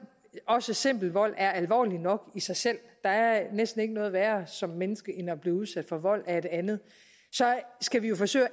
også simpel vold er alvorligt nok i sig selv der er næsten ikke noget værre som menneske end at blive udsat for vold af et andet skal vi jo forsøge at